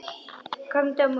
Komdu á morgun.